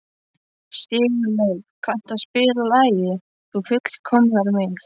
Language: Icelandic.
Sigurleif, kanntu að spila lagið „Þú fullkomnar mig“?